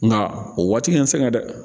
Nka o waati nin n sɛgɛn dɛ